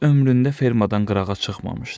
Heç ömründə fermadan qırağa çıxmamışdı.